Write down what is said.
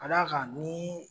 Ka d'a kan ni